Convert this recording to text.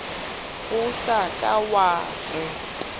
o sa ka wa re